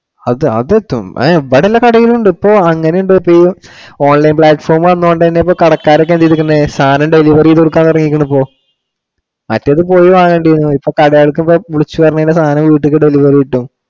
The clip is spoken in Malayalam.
അത്~ അതെത്തും. ഹേ ഇവിടെ എല്ലാ കടയിലും ഉണ്ട് ഇപ്പൊ. അങ്ങിനെ online platform വന്നൊണ്ട് തന്നെ ഇപ്പൊ കടക്കാരൊക്കെ എന്തെടുക്കുന്നെ സാധനം delivery കൊടുക്കാൻ തുടങ്ങിയേക്കുണു ഇപ്പൊ. മറ്റേതു പോയി വാങ്ങേണ്ടി വന്നു. ഇപ്പൊ കടകളിലൊക്കെ വിളിച്ചു പറഞ്ഞു കഴിഞ്ഞാ സാധനം വീട്ടിലേക്കു delivery കിട്ടും.